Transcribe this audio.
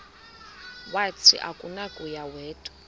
wathi akunakuya wedw